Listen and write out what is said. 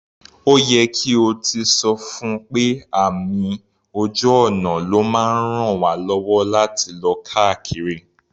Ó yẹ kí o ti sọ fún pé àmì ojú ọ̀nà ló máa ń raln wá lọ́wọ́ láti lọ káàkiri.